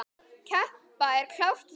Keppa, það er klárt mál.